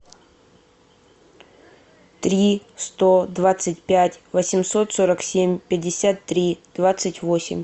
три сто двадцать пять восемьсот сорок семь пятьдесят три двадцать восемь